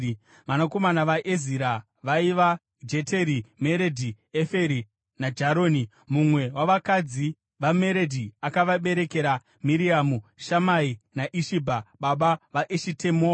Vanakomana vaEzira vaiva: Jeteri, Meredhi, Eferi, naJaroni. Mumwe wavakadzi vaMeredhi akavaberekera Miriamu, Shamai naIshibha baba vaEshitemoa.